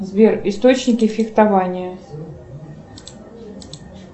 сбер источники фехтования